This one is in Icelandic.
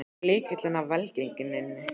Hver er lykilinn að velgengninni?